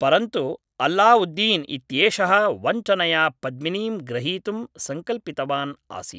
परन्तु अल्ला उद्दीन् इत्येषः वञ्चनया पद्मिनीं ग्रहीतुं संकल्पितवान् आसीत्